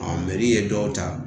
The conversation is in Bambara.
ye dɔw ta